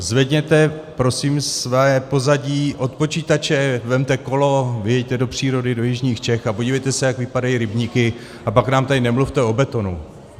Zvedněte prosím své pozadí od počítače, vezměte kolo, vyjeďte do přírody do jižních Čech a podívejte se, jak vypadají rybníky, a pak nám tady nemluvte o betonu.